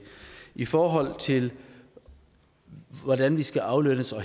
i forhold til hvordan vi skal aflønnes og